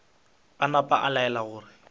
a napa a laela gore